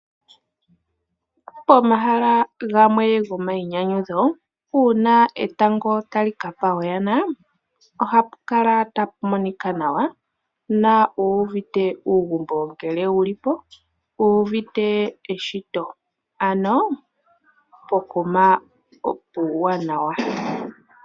Pomahala gamwe gomainyanyudho, uuna etango tali kapa oyana, ohapu kala tapu monika nawa na owuuvite uugumbo ngele uli po, wuuvite eshito ano pokuma puuwanawa.